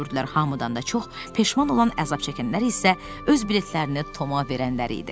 Hamıdan da çox peşman olan əzab çəkənlər isə öz biletlərini Toma verənlər idi.